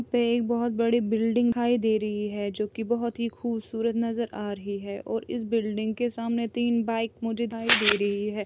यहाँ पे एक बहुत बड़ीबुल्ल्डिंग दिखाई दे रही है जो कि बहुत खुबसूरत नजर आ रही है और बुल्ल्डिंग के सामने तीन बाइक मुझे दिखाई दे रही है